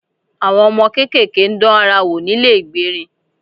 Àwọn ọmọ kéékèèké ń dán ara wò nílé ìgbérin